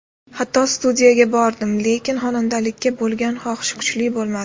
Hatto studiyaga bordim, lekin xonandalikka bo‘lgan xohish kuchli bo‘lmadi.